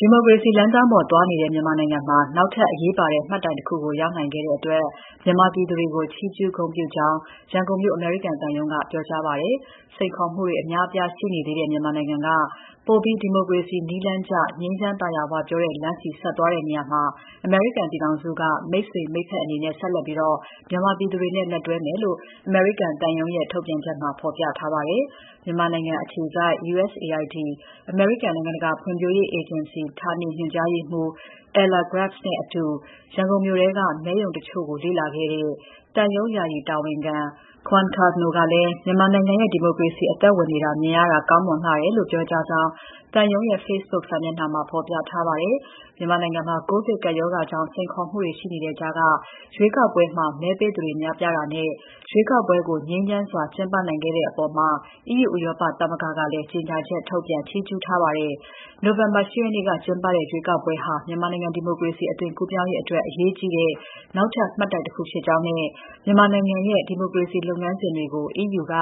ဒီမိုကရေစီလမ်းကြောင်းပေါ် သွားနေတဲ့ မြန်မာနိုင်ငံမှာ နောက်ထပ်အရေးပါတဲ့ မှတ်တိုင်တခုကို ရောက်ခဲ့နိုင်တဲ့အတွက် မြန်မာပြည်သူတွေကို ချီးကျူးဂုဏ်ပြုကြောင်း ရန်ကုန်မြို့ အမေရိကန်သံရုံးက ပြောကြားပါတယ်။ စိန်ခေါ်မှုတွေ အများ အပြားရှိနေသေးတဲ့ မြန်မာနိုင်ငံက ပိုပြီး ဒီမိုကရေစီနည်းလမ်းကျ၊ ငြိမ်းချမ်း၊ သာယာဝပြောတဲ့ လမ်းဆီ ဆက်သွားတဲ့နေရာမှာ အမေရိကန်ပြည်ထောင်စုက မိတ်ဆွေ၊ မိတ်ဖက်အနေနဲ့ ဆက်လက်ပြီး မြန်မာပြည်သူတွေနဲ့ လက်တွဲသွားမယ်လို့ အမေရိကန်သံရုံးရဲ့ ထုတ်ပြန်ချက်မှာ ဖော်ပြထားပါတယ်။ မြန်မာနိုင်ငံနိုင်အခြေစိုက် USAID အမေရိကန် နိုင်ငံတကာ ဖွံ့ဖြိုးရေးအေဂျင်စီ ဌာနေညွှန်ကြားရေးမှူး Aler Grubbs နဲ့အတူ ရန်ကုန်မြို့က မဲရုံတချို့ကိုလေ့လာခဲ့တဲ့ သံရုံးယာယီတာဝန်ခံ Gwen Cardno ကလည်း “မြန်မာနိုင်ငံရဲ့ ဒီမိုကရေစီ အသက်ဝင်နေတာ မြင်ရတာ ကောင်းမွန်လှတယ်။” လို့ ပြောကြားကြောင်း သံရုံးရဲ့ Facebook စာမျက်နှာမှာ ဖော်ပြထားပါတယ်။ မြန်မာနိုင်ငံမှာ ကိုဗစ်ကပ်ရောဂါကြောင့် စိန်ခေါ်မှုတွေ ရှိနေတဲ့ကြားက ရွေးကောက်ပွဲမှာ မဲပေးသူတွေ များပြားတာနဲ့ ရွေးကောက်ပွဲကို ငြိမ်းချမ်းစွာ ကျင်းပနိုင်ခဲ့တဲ့အပေါ်မှာ EU ဥရောပသမဂ္ဂက ကြေညာချက် ထုတ်ပြန်ချီးကျူးထားပါတယ်။ နိုဝင်ဘာ ၈ ရက်နေ့က ကျင်းပတဲ့ ရွေးကောက်ပွဲဟာ မြန်မာနိုင်ငံဒီမိုကရေစီ အသွင်ကူးပြောင်းရေးအတွက် အရေးကြီးတဲ့ နောက်ထပ် မှတ်တိုင်တခုဖြစ်ကြောင်းနဲ့ မြန်မာနိုင်ငံရဲ့ ဒီမိုကရေစီလုပ်ငန်းစဉ်တွေကို EU က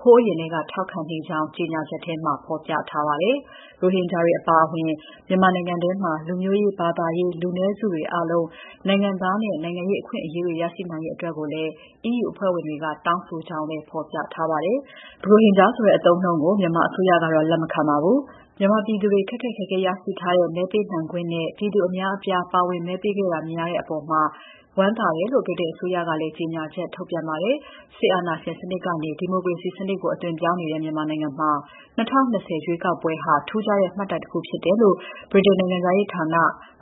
ဟိုးအရင်ထဲက ထောက်ခံနေကြောင်း ကြေညာချက်မှာ ဖော်ပြထားပါတယ်။ ရိုဟင်ဂျာတွေအပါအဝင် မြန်မာနိုင်ငံထဲမှာ လူမျိုးရေး၊ ဘာသာရေးလူနည်းစုတွေအားလုံး နိုင်ငံသားနဲ့ နိုင်ငံရေးအခွင့်အရေးတွေ ရရှိနိုင်ရေးအတွက်ကိုလည်း EU အဖွဲ့ဝင်နိုင်ငံတွေက တောင်းဆိုကြောင်းလည်း ဖော်ပြထားပါတယ်။ ရိုဟင်ဂျာဆိုတဲ့ အသုံးအနှုန်းကို မြန်မာအစိုးရကတော့ လက်မခံထားပါဘူး။ မြန်မာပြည်သူတွေ ခက်ခက်ခဲခဲရရှိထားတဲ့ မဲပေးနိုင်ခွင့်နဲ့ ပြည်သူအများအများအပြား မဲပေးခဲ့ကြတာ မြင်ရတဲ့အပေါ် ဝမ်းသာတယ်လို့ ဗြိတိန်အစိုးရကလည်း ကြေညာချက်ထုတ်ပြန်ပါတယ်။ စစ်အာဏာရှင်စနစ်ကနေ ဒီမိုကရေစီစနစ်ကို အသွင်ပြောင်းနေတဲ့ မြန်မာနိုင်ငံမှာ ၂၀၂၀ ရွေးကောက်ပွဲဟာ ထူးခြားတဲ့မှတ်တိုင်တခုဖြစ်တယ်လို့ ဗြိတိန်နိုင်ငံခြားရေးဌာန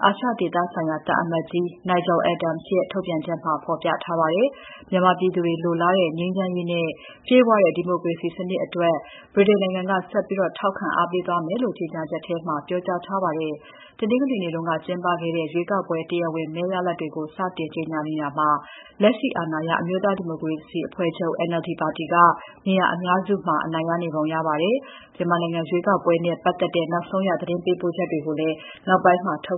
အာရှဒေသဆိုင်ရာ သံအမတ်ကြီး Nigel Adams ရဲ့ ထုတ်ပြန်ချက်မှာ ဖော်ပြထားပါတယ်။ မြန်မာပြည်သူတွေလိုလားတဲ့ ငြိမ်းချမ်းရေးနဲ့ ပြည့်ဝတဲ့ ဒီမိုကရေစီစနစ်အတွက် ဗြိတိန်နိုင်ငံက ဆက်ပြီး ထောက်ခံအားပေးသွားမယ်လို့ ကြေညာချက်ထဲမှာ ပြောကြားထားပါတယ်။ တနင်္ဂနွေနေ့က ကျင်းပခဲ့တဲ့ ရွေးကောက်ပွဲ တရားဝင် မဲရလဒ်တွေကို စတင်ကြေညာနေတာမှာ လက်ရှိအာဏာရ အမျိုးသားဒီမိုကရေစီအဖွဲ့ချုပ် NLD ပါတီက နေရာအများစုမှာ အနိုင်ရနေပုံရပါတယ်။ မြန်မာနိုင်ငံရွေးကောက်ပွဲနဲ့ ပတ်သက်တဲ့ နောက်ဆုံးရ သတင်းပေးပို့ချက်တွေကို နောက်ပိုင်းမှာလည်း ထုတ်